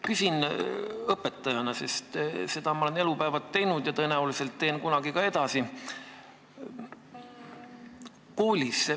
Küsin õpetajana, sest seda tööd olen ma elupäevad teinud ja tõenäoliselt teen kunagi ka edasi.